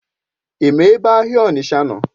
Ima ebe ahịa Onitsha nọ?